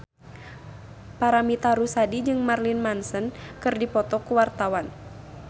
Paramitha Rusady jeung Marilyn Manson keur dipoto ku wartawan